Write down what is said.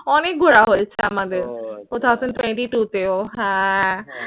অনেক ঘোরা হয়েছে আমাদের two thousand twenty two তেও। হ্যাঁ